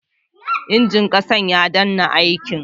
Injin saƙa ya dena aiki